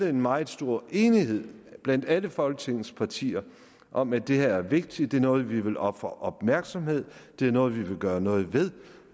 en meget stor enighed blandt alle folketingets partier om at det her vigtigt det er noget vi vil ofre opmærksomhed det er noget vi vil gøre noget ved